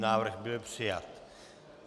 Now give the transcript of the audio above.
Návrh byl přijat.